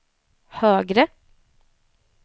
högre